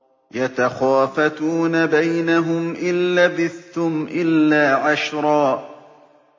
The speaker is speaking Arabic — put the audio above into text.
يَتَخَافَتُونَ بَيْنَهُمْ إِن لَّبِثْتُمْ إِلَّا عَشْرًا